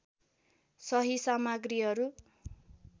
सही सामग्रीहरू